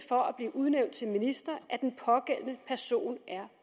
for at blive udnævnt til minister at den pågældende person er